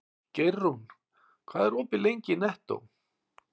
Geirrún, hvað er opið lengi í Nettó?